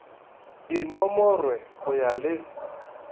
di nomorwe go ya le